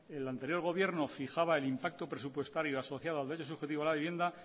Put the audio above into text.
el anterior gobierno fijaba el impacto presupuestario asociado al derecho subjetivo de la vivienda